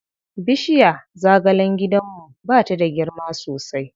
Bishirya zagalen gidanmu ba ta da girma sosai.